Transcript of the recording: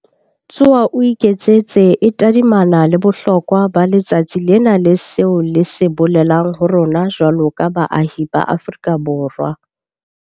Vuk'uzenzele e tadimana le bohlokwa ba letsatsi lena le seo le se bolelang ho rona jwaloka baahi ba Afrika Borwa.